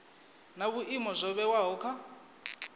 na vhuimo zwo vhewaho kha